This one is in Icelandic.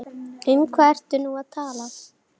Um hvað ertu nú að tala?